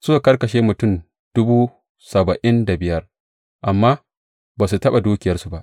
Suka karkashe mutum dubu saba’in da biyar amma ba su taɓa dukiyarsu ba.